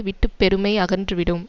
விட்டு பெருமை அகன்று விடும்